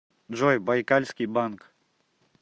джой байкальский банк